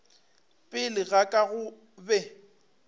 pele ga ka go be